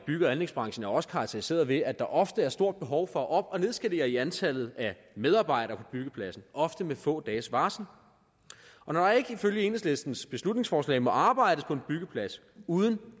bygge og anlægsbranchen er også karakteriseret ved at der ofte er stort behov for at op og nedskalere i antallet af medarbejdere på byggepladsen ofte med få dages varsel når der ikke ifølge enhedslistens beslutningsforslag må arbejdes på en byggeplads uden